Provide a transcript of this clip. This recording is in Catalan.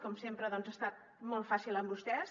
com sempre ha estat molt fàcil amb vostès